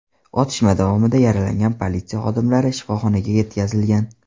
Otishma davomida yaralangan politsiya xodimlari shifoxonaga yetkazilgan.